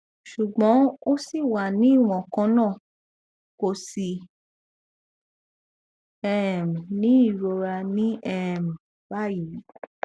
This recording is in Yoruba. ṣùgbọn ó ṣì wà ní iwọn kan náà kò sì um ní ìrora ní um báyìí